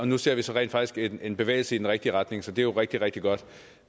nu ser vi så rent faktisk en bevægelse i den rigtige retning så det er jo rigtig rigtig godt